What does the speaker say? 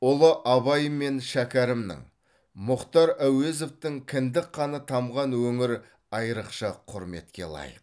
ұлы абай мен шәкәрімнің мұхтар әуезовтің кіндік қаны тамған өңір айрықша құрметке лайық